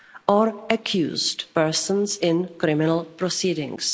or accused persons in criminal proceedings.